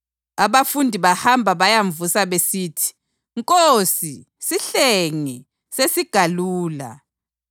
Abafundi bahamba bayamvusa besithi, “Nkosi, sihlenge, Sesigalula!”